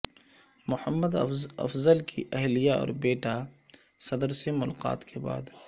محمد افضل کی اہلیہ اور بیٹا صدر سے ملاقات کے بعد